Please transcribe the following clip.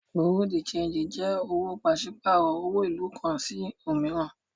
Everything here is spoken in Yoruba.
Bureau de change jé òwò pàṣípàrọ̀ owo ìlú kan sí òmíràn.